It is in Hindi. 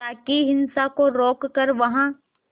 ताकि हिंसा को रोक कर वहां